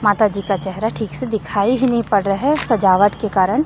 माताजी का चेहरा ठीक से दिखाई ही नहीं पड़ रहा है सजावट के कारण--